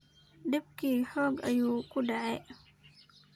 Dibiki hoog ayu kudecey.